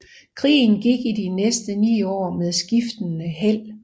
Krigen gik i de næste ni år med skiftende held